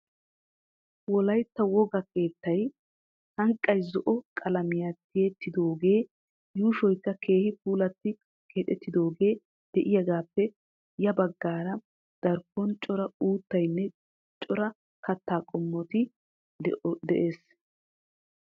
Wolaytta wogaa keettay sanqqay zo'o qalamiya tiyettidoogee yuushoykka keehi puulatti keexettidaagee de'iyagaappe ya baggaara darkkon cora uuttaynne cora kattaa qommoykka de'ees.